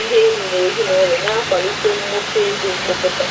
ndị enyi na ezinụlọ, na-akwalite mmuta ego mkpokọta.